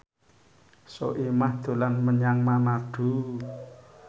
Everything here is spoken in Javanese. Soimah dolan menyang Manado